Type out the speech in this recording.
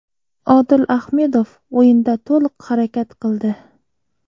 Odil Ahmedov o‘yinda to‘liq harakat qildi.